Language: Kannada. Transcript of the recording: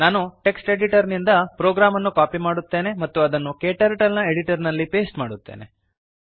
ನಾನು ಟೆಕ್ಸ್ಟ್ ಎಡಿಟರ್ ನಿಂದ ಪ್ರೋಗ್ರಾಮ್ ಅನ್ನು ಕಾಪಿ ಮಾಡುತ್ತೇನೆ ಮತ್ತು ಅದನ್ನು Kturtleನ Editorನಲ್ಲಿ ಪೇಸ್ಟ್ ಮಾಡುತ್ತೇನೆ